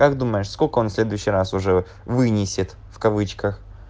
как думаешь сколько он следующий раз уже вынесет в кавычках